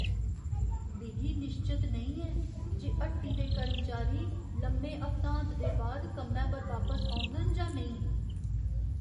मिगी निश्चत नेईं ऐ जे हट्टी दे कर्मचारी लम्मे हफ्तांत दे बाद कम्मै पर बापस औङन जां नेईं।